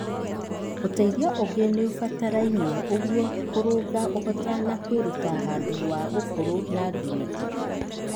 Uteithio ũngĩ nĩũbataraine nĩguo kũrũnga ũhota na kwĩruta handũ wa ũkũrũ na ngirĩndi.